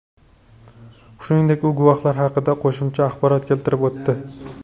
Shuningdek, u guvohlar haqida qo‘shimcha axborot keltirib o‘tdi.